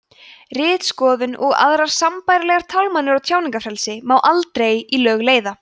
ritskoðun og aðrar sambærilegar tálmanir á tjáningarfrelsi má aldrei í lög leiða